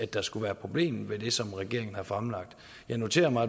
der skulle være problemet ved det som regeringen har fremlagt jeg noterede mig